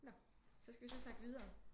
Nå så skal vi så snakke videre